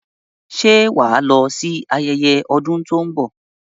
Ṣé wà á lọ sí ayẹyẹ ọdún tó ń bọ̀?